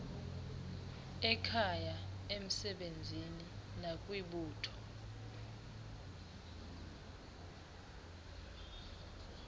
ekhaya emsebenzini nakwibutho